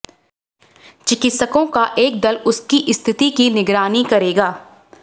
चिकित्सकों का एक दल उसकी स्थिति की निगरानी करेगा